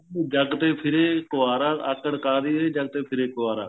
ਜੇ ਜੱਗ ਤੇ ਫਿਰੇ ਕੁਵਾਰਾ ਆਕੜ ਕਾਹਦੀ ਵੇ ਜੱਗ ਤੇ ਫਿਰੇ ਕੁਵਾਰਾ